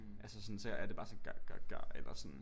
Altså sådan så er det bare sådan ga ga ga eller sådan